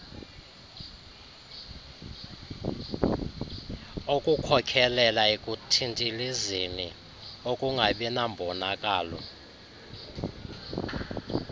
ukukhokhelela ekuthintilizeni ukungabinambonakalo